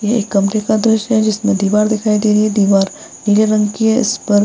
ये एक कमरे का दृश्य है जिसमे दीवार दिख रही है दीवार नीले रंग की है इसपर --